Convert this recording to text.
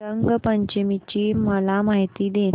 रंग पंचमी ची मला माहिती दे